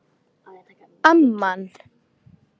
Amman